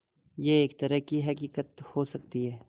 यह एक तरह की हक़ीक़त हो सकती है